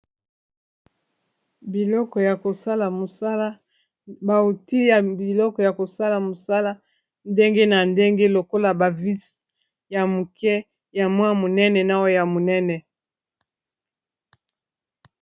Biloko ya kosala mosala ndenge na ndenge lokola bavise ya moke ya mwa monene na oyo ya monene.